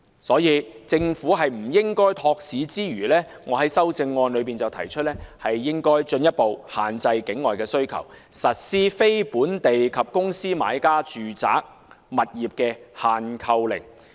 所以，政府絕不應該托市之餘，我在修正案提出政府應該進一步限制境外需求，實施非本地及公司買家住宅物業的"限購令"。